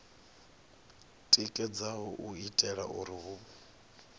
tikedzaho u itela uri hu